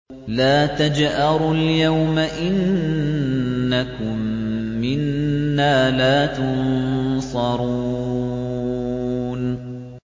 لَا تَجْأَرُوا الْيَوْمَ ۖ إِنَّكُم مِّنَّا لَا تُنصَرُونَ